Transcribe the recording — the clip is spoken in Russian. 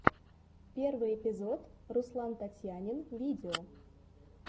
первый эпизод руслантатьянинвидео